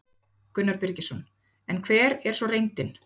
Gunnar Birgisson: En hver er svo reyndin?